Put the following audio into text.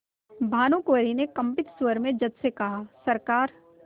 भानुकुँवरि ने कंपित स्वर में जज से कहासरकार